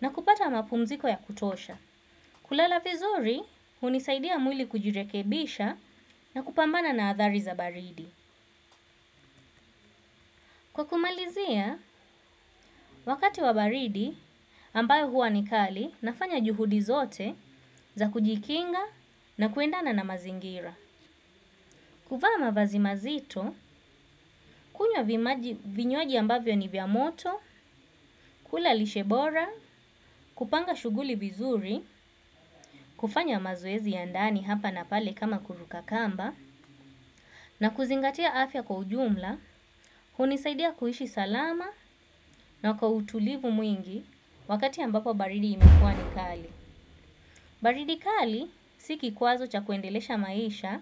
na kupata mapumziko ya kutosha. Kulala vizuri hunisaidia mwili kujirekebisha na kupambana na athari za baridi. Kwa kumalizia, wakati wa baridi ambayo huwa nikali nafanya juhudi zote za kujikinga na kuendana na mazingira. Kuvaa mavazi mazito, kunywa vinywaji ambavyo ni vya moto, kula lishebora, kupanga shughuli vizuri, kufanya mazoezi ya ndani hapa na pale kama kuruka kamba, na kuzingatia afya kwa ujumla, hunisaidia kuishi salama na kwa utulivu mwingi wakati ambapo baridi imekuwa ni kali. Baridikali sikikwazo cha kuendelesha maisha,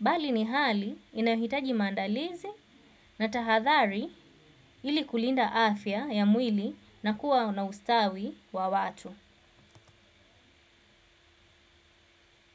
bali ni hali inahitaji maandalizi na tahathari ili kulinda afya ya mwili na kuwa na ustawi wa watu.